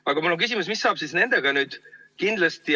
Aga mul on küsimus, mis saab nendega nüüd?